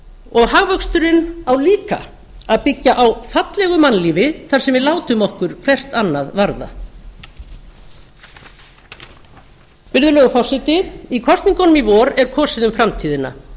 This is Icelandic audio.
og hagvöxturinn á líka að byggja á fallegu mannlífi þar sem við látum okkur hvert annað varða virðulegur forseti í kosningunum í vor er kosið um framtíðina